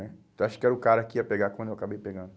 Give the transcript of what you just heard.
Né? Eu acho que era o cara que ia pegar quando eu acabei pegando.